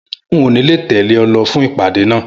N ò ní lè tèlé o lo fún ìpàdé náà